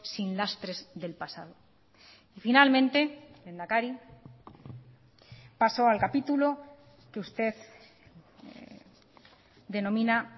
sin lastres del pasado y finalmente lehendakari paso al capítulo que usted denomina